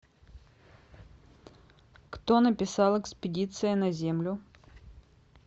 кто написал экспедиция на землю